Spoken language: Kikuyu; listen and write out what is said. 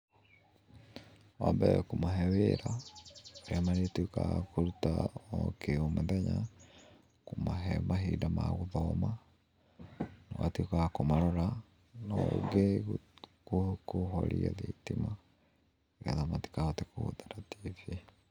Wa mbere kũmahe wĩra ũrĩa marĩtuĩkaga kũruta o mũthenya, kũmahe mahinda ma gũthoma ũgatuĩka wa kũmarora na ũngĩ kũhoria thitima nĩgetha matikahote kũhũthĩra TV